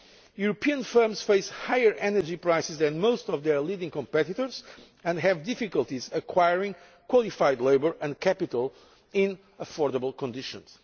European firms face higher energy prices than most of their leading competitors and have difficulties acquiring qualified labour and capital in affordable conditions.